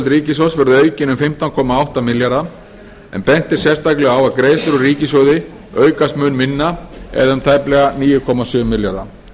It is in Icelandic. ríkissjóðs verði aukin um fimmtán komma átta milljarða en bent er sérstaklega á að greiðslur úr ríkissjóði aukast mun minna eða um tæplega níu komma sjö milljarða